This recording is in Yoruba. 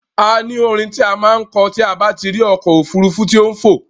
A ní orin ti a máà ń kọ tí a bá tí rí ọkọ̀ òfurufú tí ó ń fò.